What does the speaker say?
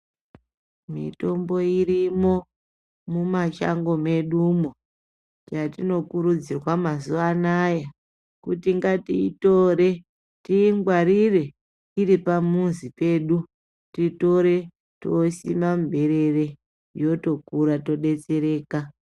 Mitombo irino memashango medumo yatinokurudzirwa mazuvana kuti ngatiitore tiingwarire tiri pamuzi pedu titore tosima muberere yotokura totodetsereka.